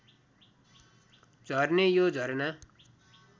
झर्ने यो झरना